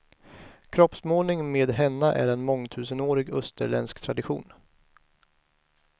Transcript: Kroppsmålning med henna är en mångtusenårig österländsk tradition.